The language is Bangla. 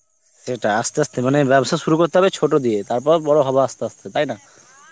সেটা, আস্তে আস্তে মানে ব্যবসা শুরু করতে হবে ছোট দিয়ে, তারপর বড় হব আস্তে আস্তে, তাই না?